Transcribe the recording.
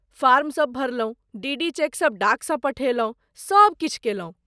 फॉर्मसभ भरलहुँ, डीडी चेकसभ डाकसँ पठेलहुँ, सभ किछु कयलहुँ।